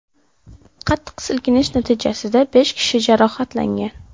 Qattiq silkinish natijasida besh kishi jarohatlangan.